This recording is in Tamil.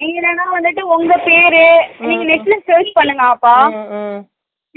நீங்க என்னன்னா வந்துட்டு உங்க பேறு net ல search பண்ணுங்க ஆத்தா,